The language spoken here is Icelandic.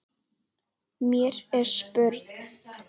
Mér er spurn!